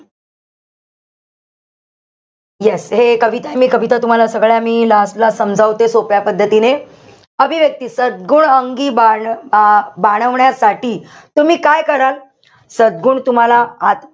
Yes हे कविता, मी कविता तुम्हाला सगळ्या मी last ला समजावते सोप्या पद्धतीने. अभिव्यक्ती, सद्गुण अंगी बाळ अ बाणवण्यासाठी तुम्ही काय कराल? सद्गुण तुम्हाला आ